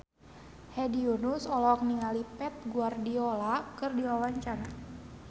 Hedi Yunus olohok ningali Pep Guardiola keur diwawancara